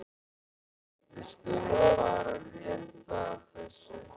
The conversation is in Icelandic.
Við skulum fara rétt að þessu.